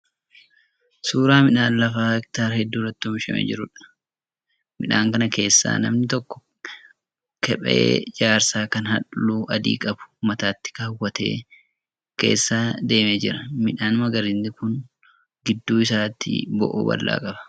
Suuraa midhaan lafa hektaara hedduu irratti oomishamee jiruudha. Midhaan kana keessa namni tokko kephee jaarsaa kan halluu adii qabu mataatti kaawwatee keessa deemaa jira. Midhaan magariisni kun gidduu isaatii bo'oo bal'aa qaba.